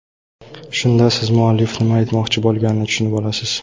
Shunda siz muallif nima aytmoqchi bo‘lganini tushunib olasiz.